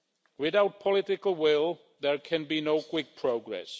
Without political will, there can be no quick progress.